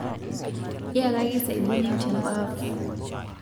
Yakaki saiboni tembaf